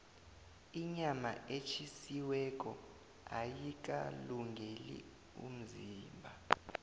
inyama etjhisiweko ayikalungeli umzimba